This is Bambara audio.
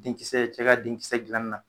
Denkisɛ cɛ ka denkisɛ gilanin na